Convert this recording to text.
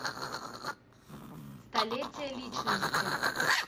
столетие личности